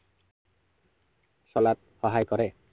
চলাত সহায় কৰে।